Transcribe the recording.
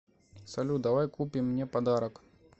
салют давай купим мне подарок